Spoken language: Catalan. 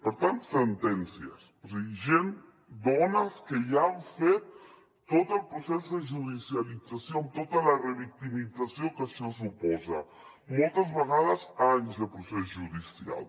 per tant sentències és a dir gent dones que ja han fet tot el procés de judicialització amb tota la revictimització que això suposa moltes vegades anys de procés judicial